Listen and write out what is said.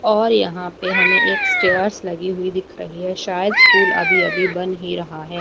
और यहां पे हमें एक स्टेयर्स लगी हुई दिख रही है शायद स्कूल अभी अभी बन ही रहा है।